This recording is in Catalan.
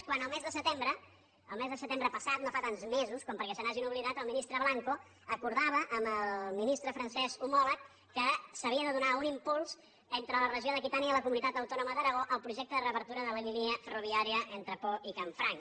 quan el mes de setembre el mes de setembre passat no fa tants mesos com perquè se n’hagin oblidat el ministre blanco acordava amb el ministre francès homòleg que s’havia de donar un impuls entre la regió d’aquitània i la comunitat autònoma d’aragó al projecte de reobertura de la línia ferroviària entre pau i canfranc